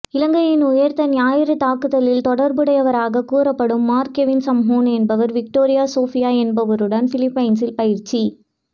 இலங்கையின் உயிர்த்த ஞாயிறு தாக்குதலில் தொடர்புடையவராக கூறப்படும் மார்க் கெவின் சம்ஹூன் என்பவரும் விக்டோரியா சோபியா என்பவருடன் பிலிப்பைன்ஸில் பயிற்சி